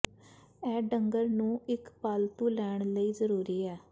ਇਹ ਡੰਗਰ ਨੂੰ ਇੱਕ ਪਾਲਤੂ ਲੈਣ ਲਈ ਜ਼ਰੂਰੀ ਹੈ